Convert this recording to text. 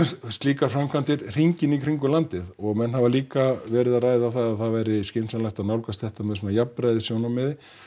slíkar framkvæmdir hringinn í kring um landið og menn hafa líka verið að ræða það að það sé skynsamlegt að nálgast þetta með svona jafnræðissjónarmiði